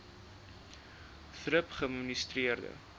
thrip geadministreer